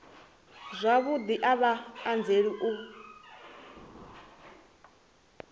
zwavhudi a vha anzeli u